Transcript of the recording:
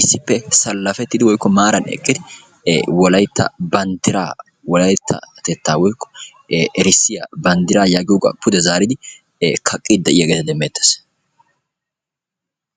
Issipe sallafettidi woykko maran eqqidi wolaytta banddira wolayttatetta woykko erissiya banddira yagiyoga pude zaridi kaqqidi de'iyageta demetees.